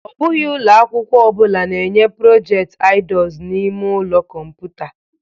Ọ bụghị ụlọ akwụkwọ ọ bụla na-enye project_idors n'ime ụlọ kọmputa.